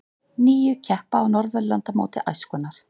Níu keppa á Norðurlandamóti æskunnar